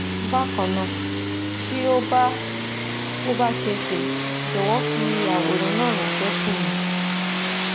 Bakanna, ti o ba o ba see se jọ̀wọ́ fi àwòrán náà ranse si mí